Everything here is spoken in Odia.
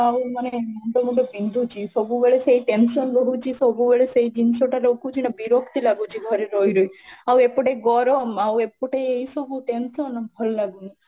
ନା ମାନେ ମୁଣ୍ଡ ଫୁଣ୍ଡ ବିନ୍ଧୁଛି ସବୁ ବେଳେ ସେଇ tension ରେ ରହୁଛି ସବୁ ବେଳେ ସେଇ ଜିନ୍ସ ଟା ରହୁଛି ନା ବିରକ୍ତି ଲାଗିଛି ଘରେ ରହି ରହି ଆଉ ଏପଟେ ଗରମ ଆଉ ଏପଟେ ଏଇ ସବୁ tension, ଭଲ ଲାଗୁନାହିଁ